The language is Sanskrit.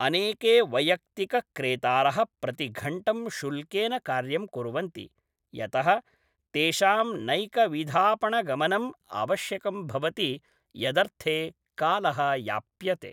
अनेके वैयक्तिकक्रेतारः प्रतिघण्टं शुल्केन कार्यं कुर्वन्ति, यतः तेषां नैकविधापणगमनम् आवश्यकं भवति यदर्थे कालः याप्यते।